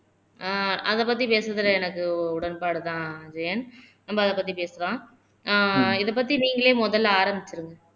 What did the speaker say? ஆஹ் அதை பத்தி பேசறதுல எனக்கு உடன்பாடுதான் அஜயன் நம்ம அதை பத்தி பேசலாம் ஆஹ் இதை பத்தி நீங்களே முதல்ல ஆரம்பிச்சிருங்க